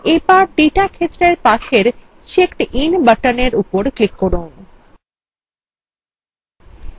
এবার ডেটা ক্ষেত্রের পাশের checkedin buttonএর উপর click করুন